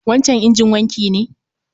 wancan injin wanki ne?